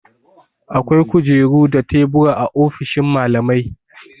Akwai kujeru da tebura a ofishin mallamai.